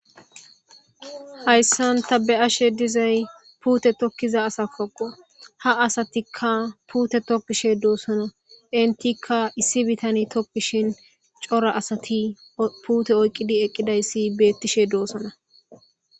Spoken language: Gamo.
Hayssan ta beyashe dizay puutte tookiza asatakko ha asatikka puutte tookishe dossonna enttikka issi biittaney tookishin cora asati puutte oyqiddi eeqidayssi betishe de'ossonna